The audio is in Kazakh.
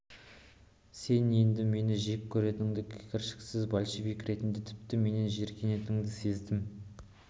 сен енді мені жек көретініңді кіршіксіз большевик ретінде тіпті менен жиіркенетініңді сездім